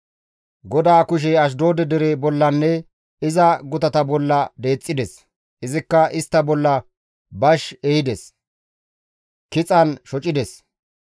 GODAA kushey Ashdoode dere bollanne iza gutata bolla deexxides; izikka istta bolla bash ehides; kixan shocides.